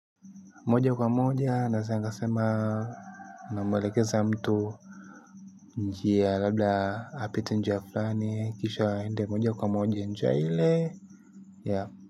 Moja kwa moja naweza nikasema namwelekeza mtu njia labda apite njia fulani kisha aende moja kwa moja njia ile ya.